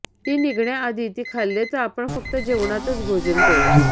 ती निघण्याआधी ती खाल्ले तर आपण फक्त जेवणातच भोजन करू